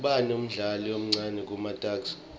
ubani umdlali omcani kumatuks